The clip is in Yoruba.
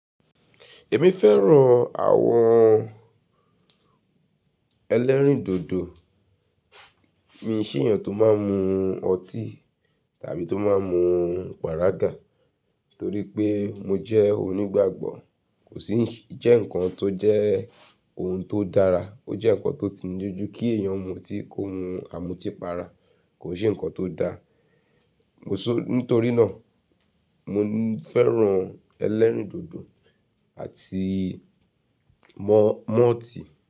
Èmi fẹ́ràn àwọn ẹlẹ́rìndòdò, mi o n se èèyàn tó máa ń mu ọtí tàbí tó máa ń mu pàrágà torí pé mo jẹ́ onígbàgbọ́. Kò sì jẹ́ nǹkan tó jẹ́ ohun tó dára, ó jẹ́ nǹkan tó ti jẹ́-- kí èèyàn mu ọtí kó mu àmútípara, kò n se nǹkan tó dara. Mo so-- nítorí náà mo fẹ́ràn ẹlẹ́rìndòdò àti mọ-malt.